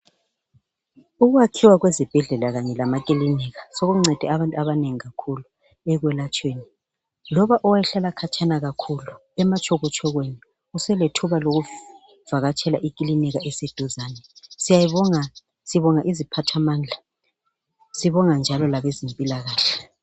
Ukwakhiwa kwezibhedlela kanye lamakilinika sokuncede abantu abanengi kakhulu ekwelatshweni loba owayehlala khatshana kakhulu ematshoko tshokweni uselethuba lokuvakatshela ikilinika eseduzane siyayibonga, sibonga iziphathamandla sibonga njalo labezempilakahle.